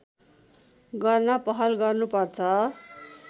गर्न पहल गर्नुपर्छ